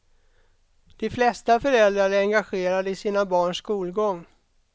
De flesta föräldrar är engagerade i sina barns skolgång.